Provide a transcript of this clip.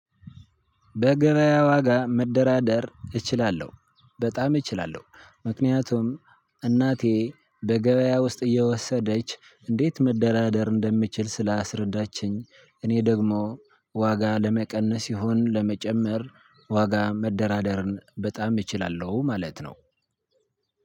በገበያ ዋጋ መደራደር እችላለሁ በጣም እችላለሁ ምክንያቱም እናቴ በገበያ ውስጥ እየወሰደች እንዴት መደራደር እንደምችል ስላስረዳችኝ እኔ ደግሞ ዋጋ ለመቀነስ ይሁን ለመጨመር ዋጋ መደራደርን በጣም እችላለሁ። ማለት ነው